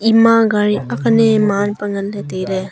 ima gari akne maan pa nganley tailey.